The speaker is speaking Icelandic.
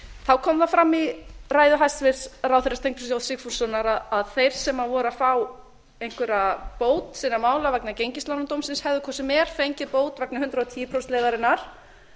þá kom það fram í ræðu hæstvirts ráðherra steingríms j sigfússonar að þeir sem voru að fá einhverja bót sinna mála vegna gengislánadómsins hefðu hvort sem er fengið bót vegna hundrað og tíu prósenta leiðarinnar